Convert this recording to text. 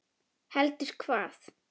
Heldur hvað?